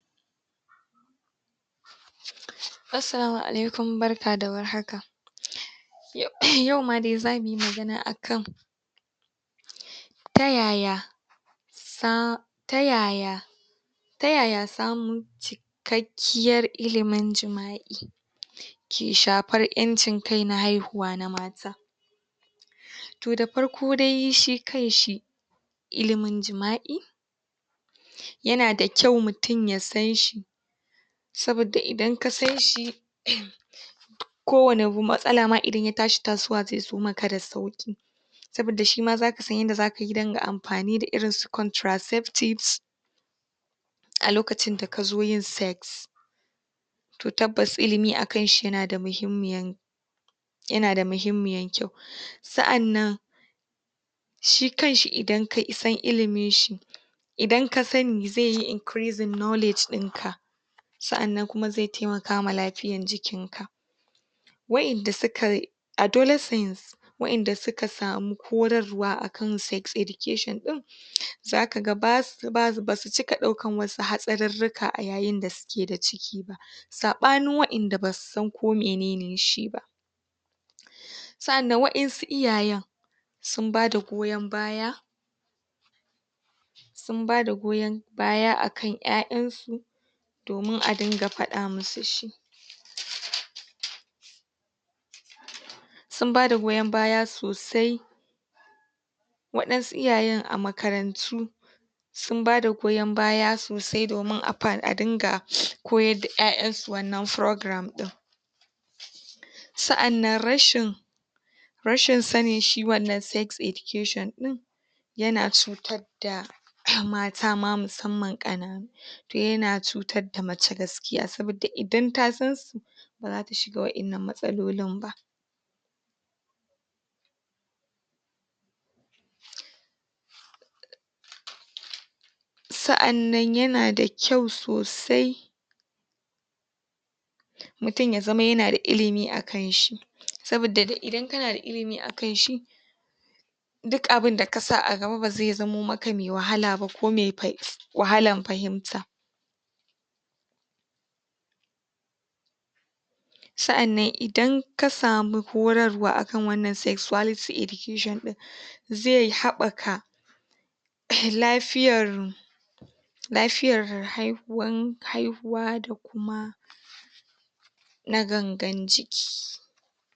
Assalamu alaikum! Barka da war haka. Yau ma dai za mu yi magana akan ta yaya sa ta yaya ta yaya samu cikakkiyar ilimin jima'i ke hafar ƴancin kai na haihuwa na mata. To da farko dai shi kanshi ilimin jima'i yana da kyau mutum ya san shi sabodda idan ka san shi kowane matsala ma idan ya tashi tasowa zai zo maka da sauki, saboda shi ma za ka san yanda za ka yi dinga amfani da irin su contraceptives a lokacin da ka zo yin sex. To tabbas ilimi a kanshi yana da muhimmayiyan yana da muhimmayiyan kyau. Sa'annan shi kanshi idan ka'i san ilimin shi idan ka sani zai yi increasing knowledge. Sa'anan kuma zai taimaka ma lafiyan jikinka. Wa'idda sukai adolescence wa'idda suka samu horarwa a kan sex education ɗin za ka ga bas ba su cika ɗaukan wasu hatsarurruka a yayin da suke da ciki ba. Saɓanin wadanda ba su san ko mene ne shi ba. Sa'annan wadansu iyayen sun bada goyon baya sun bada goyon baya a kan ƴaƴansu domin a dinga faɗa masu shi. Sun ba da goyon baya sosai, waɗansu iyayen a makarantu sun bada goyon baya sosai domin a dinga koyar da ƴaƴansu wannan programme. Sa'annan rashin rashin sanin shi wannan sex education ɗin yana cutar da mata ma mussamman ƙananu. Yana cutar da mace gaskiya saboda idan ta san su ba za ta shiga wadannan matsalolin ba. Sa'annan yana da kyau sosai mutum ya zama yana da ilimi a kan shi saboda idan kana da ilimi akan shi duk abun da kasa a gaba ba zai zamo maka mai wahala ba ko mai wahalan fahimta. Sa'annan idan ka samu horarwa a kan wannan sexuality education ɗin zai haɓaka lafiyar lafiyar haihuwan haihuwa da kuma na gangan jiki.